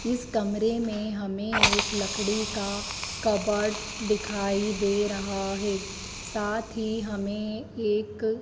इस कमरे में हमें एक लकड़ी का कपबोर्ड दिखाई दे रहा है साथ ही हमें एक--